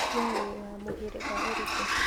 wee wĩwa mũhĩrĩga ũrĩkũ?